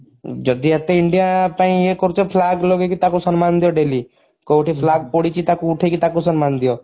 ଯଦି ଏତେ india ପାଇଁ ଇଏ କରୁଛ flag ଲଗେଇକି ତାକୁ ସନମାନ ଦିଅ daily କଉଠି flag ପଡିଛି ତାକୁ ଉଠେଇକି ତାକୁ ସମ୍ମାନ ଦିଅ